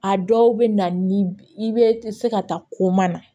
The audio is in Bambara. A dɔw bɛ na ni i bɛ se ka taa ko ma na